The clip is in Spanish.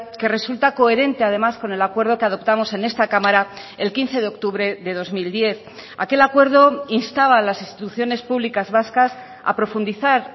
que resulta coherente además con el acuerdo que adoptamos en esta cámara el quince de octubre de dos mil diez aquel acuerdo instaba a las instituciones públicas vascas a profundizar